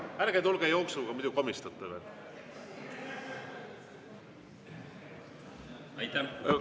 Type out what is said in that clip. Ärge tulge jooksuga, muidu komistate veel!